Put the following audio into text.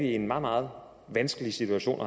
i en meget meget vanskelig situation